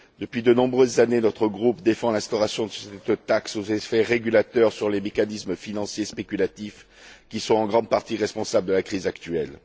Depuis de nombreuses années, notre groupe défend l'instauration de cette taxe aux effets régulateurs sur les mécanismes financiers spéculatifs qui sont en grande partie responsables de la crise actuelle.